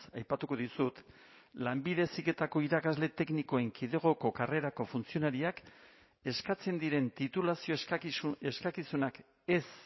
aipatuko dizut lanbide heziketako irakasle teknikoen kidegoko karrerako funtzionariak eskatzen diren titulazio eskakizunak ez